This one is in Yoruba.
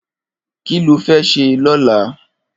Kiló fè sé lọ̀là?